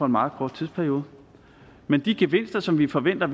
meget kort tidsperiode men de gevinster som vi forventer